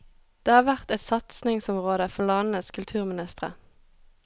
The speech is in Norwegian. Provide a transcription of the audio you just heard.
Det har vært et satsingsområde for landenes kulturministre.